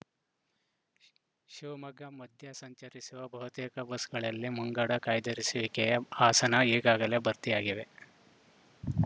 ಶ್ ಶಿವಮೊಗ್ಗ ಮಧ್ಯ ಸಂಚರಿಸುವ ಬಹುತೇಕ ಬಸ್‌ಗಳಲ್ಲಿ ಮುಂಗಡ ಕಾಯ್ದಿರಿಸುವಿಕೆಯ ಆಸನ ಈಗಾಗಲೇ ಭರ್ತಿಯಾಗಿವೆ